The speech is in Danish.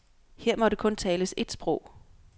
Her måtte kun tales et sprog.